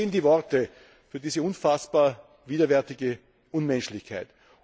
Mir fehlen die Worte für diese unfassbar widerwärtige Unmenschlichkeit.